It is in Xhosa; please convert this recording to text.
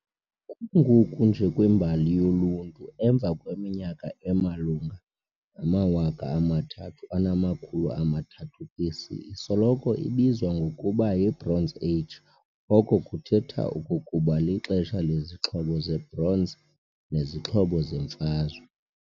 Kungoku nje kwimbali yolunti, emva kweminyaka emalunga nama-3300 BC isoloko ibizwa ngokuba yi-Bronze Age, oko kuthetha okokuba lixesha lezixhobo ze-bronze nezixhobo zemfazwe.